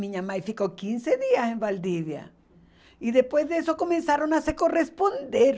Minha mãe ficou quinze dias em Valdivia e depois disso começaram a se corresponder.